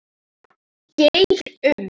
Geir Um.